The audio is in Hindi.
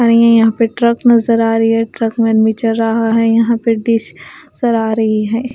और ये यहां पे ट्रक नजर आ रही है ट्रक में आदमी चढ़ रहा हैं यहां पे डिश आ रही हैं।